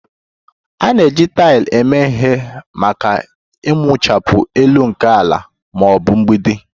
A na-eji taịl eme ihe maka ikpuchi elu nke ala ma ọ bụ mgbidi